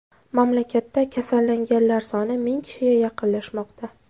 Mamlakatda kasallanganlar soni ming kishiga yaqinlashmoqda.